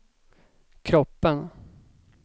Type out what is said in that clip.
kroppen